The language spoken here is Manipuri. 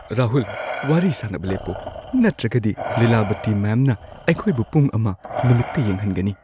ꯔꯥꯍꯨꯜ! ꯋꯥꯔꯤ ꯁꯥꯅꯕ ꯂꯦꯞꯄꯣ, ꯅꯠꯇ꯭ꯔꯒꯗꯤ ꯂꯤꯂꯥꯕꯇꯤ ꯃꯦꯝꯅ ꯑꯩꯈꯣꯏꯕꯨ ꯄꯨꯡ ꯱ ꯅꯨꯃꯤꯠꯇ ꯌꯦꯡꯍꯟꯒꯅꯤ꯫